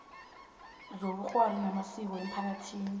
zobukghwari namasiko emphakathini